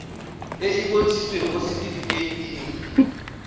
e e bontshitsweng mo setifikeiting